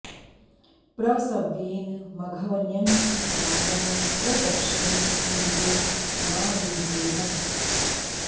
प्र सव्येन मघवन्यंसि रायः प्र दक्षिणिद्धरिवो मा वि वेनः